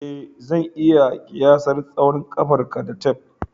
Ee, zan iya kiyasar tsawon ƙafarka da tef